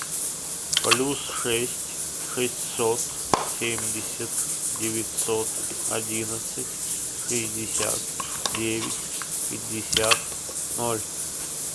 плюс шесть шестьсот семьдесят девятьсот одиннадцать шестьдесят девять пятьдесят ноль